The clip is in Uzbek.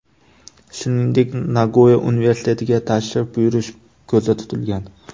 Shuningdek, Nagoya universitetiga tashrif buyurish ko‘zda tutilgan.